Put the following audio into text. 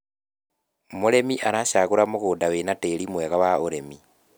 mũrĩmi aracagura mũgũnda wina tĩĩri mwega wa ũrĩmi